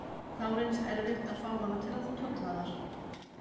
Þá reynist erfitt að fá hana til að tolla þar.